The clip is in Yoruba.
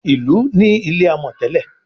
Ilú ní ilé amò tèlé.